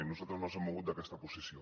nosaltres no ens hem mogut d’aquesta posició